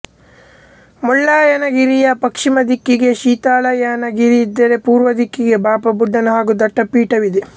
ಮುಳ್ಲಯ್ಯನ ಗಿರಿಯ ಪಶ್ಚಿಮ ದಿಕ್ಕಿಗೆ ಶೀತಾಳಯ್ಯನ ಗಿರಿ ಇದ್ದರೆ ಪೂರ್ವ ದಿಕ್ಕಿಗೆ ಬಾಬಾ ಬುಡನ್ ಹಾಗು ದತ್ತ ಪೀಠವಿದೆ